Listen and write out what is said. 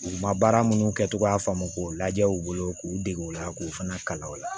U ma baara minnu kɛ cogoya faamu k'u lajɛ u bolo k'u dege o la k'o fana kalan o la